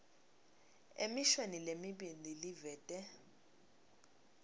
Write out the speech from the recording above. emishweni lemibili livete